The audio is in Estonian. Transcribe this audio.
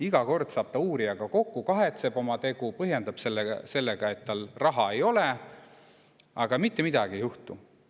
Iga kord saab ta uurijaga kokku, kahetseb oma tegu, põhjendab sellega, et tal raha ei ole, aga mitte midagi ei juhtu.